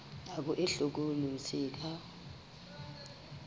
nako e hlokolosi e ka